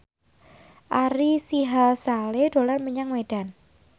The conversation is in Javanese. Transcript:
Ari Sihasale dolan menyang Medan